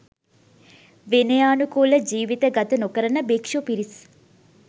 විනයානුකූල ජීවිත ගත නොකරන භික්‍ෂු පිරිස්